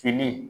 Fini